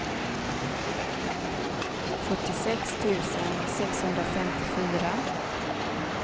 sjuttiosex tusen sexhundrafemtiofyra